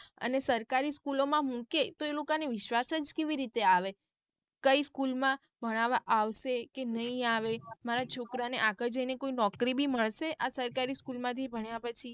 અને સરકારી school ઓ માં મૂકે તો એ લોક ને વિશ્વાસ જ કેવી રીતે આવે કઈ school માં ભણવા આવશે કે નહિ આવે મારા છોકરાને આગળ જઈને કોઈ નોકરી બી મળશે આ સરકારી school માં થી ભણ્યા પછી.